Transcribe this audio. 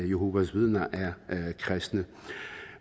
jehovas vidner er kristne